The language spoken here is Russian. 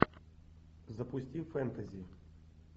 запусти фэнтези